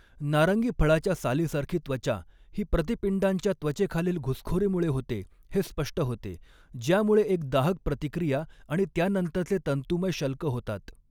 नारंगी फळाच्या सालीसारखी' त्वचा ही प्रतिपिंडांच्या त्वचेखालील घुसखोरीमुळे होते हे स्पष्ट होते, ज्यामुळे एक दाहक प्रतिक्रिया आणि त्यानंतरचे तंतुमय शल्क होतात.